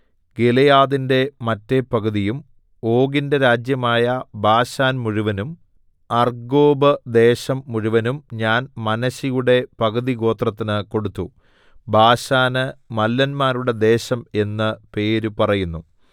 ഗിലെയാദിന്റെ മറ്റെ പകുതിയും ഓഗിന്റെ രാജ്യമായ ബാശാൻ മുഴുവനും അർഗ്ഗോബ്ദേശം മുഴുവനും ഞാൻ മനശ്ശെയുടെ പകുതിഗോത്രത്തിന് കൊടുത്തു ബാശാന് മല്ലന്മാരുടെ ദേശം എന്ന് പേര് പറയുന്നു